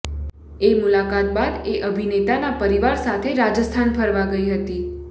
એ મુલાકાત બાદ એ અભિનેતાના પરિવાર સાથે રાજસ્થાન ફરવા ગઈ હતી